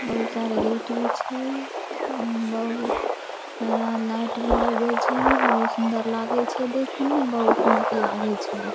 बहुत सारे गेट भी छै बहुत सारा लाइट भी लगल छै बहुत सुंदर लागे छै देखे में बहुत निक लागे छै देखे में।